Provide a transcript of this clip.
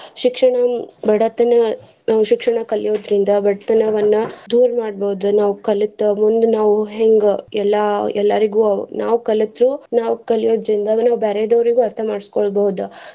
ಶಿಕ್ಷಣ ಬಡತನ ನಾವ್ ಶಿಕ್ಷಣ ಕಲಿಯೊದ್ರಿಂದ ಬಡತನವನ್ನ ದೂರ್ ಮಾಡ್ಬಹುದ್ ನಾವ್ ಕಲಿತ ಮುಂದ್ ನಾವ್ ಹೆಂಗ ಎಲ್ಲಾ ಎಲ್ಲಾರ್ಗು ನಾವ್ ಕಲತು ನಾವ್ ಕಲಿಯೊದ್ರಿಂದ ಅವಾಗ ನಾವ್ ಬ್ಯಾರೆದವ್ರಿಗು ಅರ್ತಾ ಮಾಡ್ಸಕೊಳಬಹುದ.